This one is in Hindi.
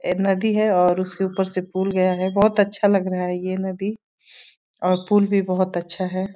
ए नदी है और उसके ऊपर से पुल गया है। बहोत अच्छा लग रहा है ये नदी और पुल भी बहोत अच्छा है।